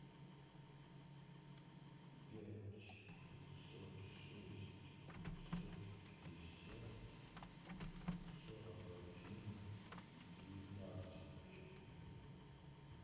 пять пятьсот шесть пятьсот пятьдесят сорок один девятнадцать